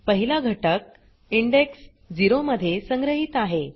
पहिला घटक इंडेक्स 0 मध्ये संग्रहीत आहे